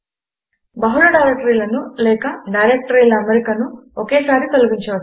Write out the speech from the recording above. బహుళ డైరెక్టరీలను లేక డైరెక్టరీల అమరికను ఒకేసారి తొలగించవచ్చు